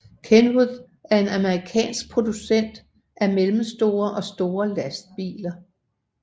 Kenworth er en amerikansk producent af mellemstore og store lastbiler